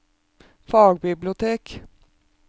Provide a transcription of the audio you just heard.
fagbibliotek